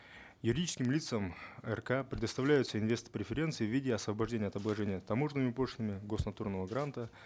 юридическим лицам рк предоставляются инвест преференции в виде освобождения от обложения таможенными пошлинами гос натурного гранта